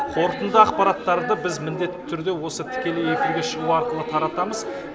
қорытынды ақпараттарды біз міндетті түрде осы тікелей эфирге шығу арқылы таратамыз